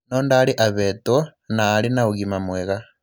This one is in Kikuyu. No ndaarĩ ovetwo, na arĩ na ũgima mwega.